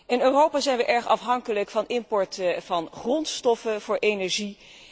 In Europa zijn wij erg afhankelijk van import van grondstoffen voor energie.